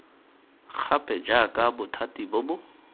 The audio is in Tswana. gape jaaka bothati bo bo